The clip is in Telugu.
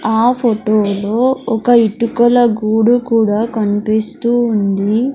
ఆ ఫోటోలో ఒక ఇటుకల గూడు కూడా కనిపిస్తూ ఉంది.